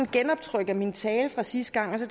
genoptryk af min tale fra sidste gang og så